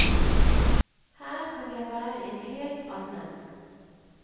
Her kan jeg være en helt annen.